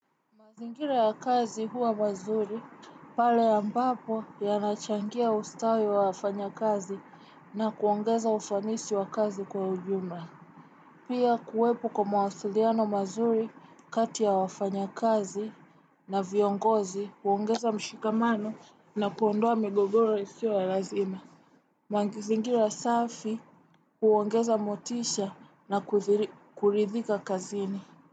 Mazingira ya kazi huwa mazuri pale ambapo yanachangia ustawi wa wafanya kazi na kuongeza ufanisi wa kazi kwa ujumla. Pia kuwepo kwa mawasiliano mazuri kati ya wafanya kazi na viongozi huongeza mshikamano na kuondoa migogoro isiyo ya lazima. Mazingira safi huongeza motisha na kulidhika kazini.